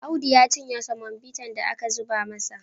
Audu ya cinye semobitan da aka zuba masa.